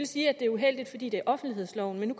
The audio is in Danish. sige at det er uheldigt fordi det er offentlighedsloven men